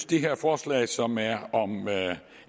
det her forslag som er om